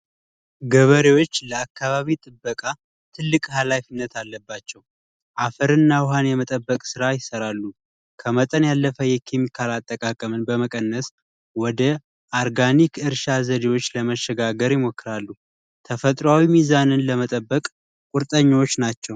ገበሬዎች ለአካባቢ ጥበቃ ትልቅ ሀላፊነት አለባቸው። አፈር እና ውሃ የመጠበቅ ስራን ይሰራሉ ከመጠን ያለፈ የኬሚካል አጠቃቀምን በመቀነስ ወደ ኦርጋኒክ እርሻ ዘዴዎች ለመሸጋገር ይሞክራሉ። ተፈጥሯዊ ሚዛንን ለመጠበቅ ቁርጠኞች ናቸው።